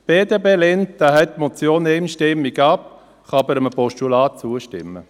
Die BDP lehnt die Motion einstimmig ab, kann aber einem Postulat zustimmen.